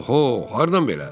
Oho, hardan belə?